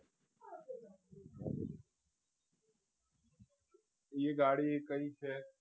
એ ગાડી કઈ છે?